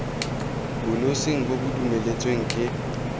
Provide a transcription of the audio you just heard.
bonosing bo bo dumeletsweng ke